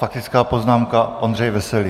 Faktická poznámka - Ondřej Veselý.